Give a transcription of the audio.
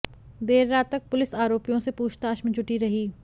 देररात तक पुलिस आरोपियों से पूछताछ में जुटी रही